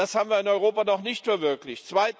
Das haben wir in Europa noch nicht verwirklicht.